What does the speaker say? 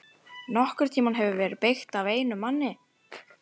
NOKKURN TÍMA HEFUR VERIÐ BEYGT AF EINUM MANNI!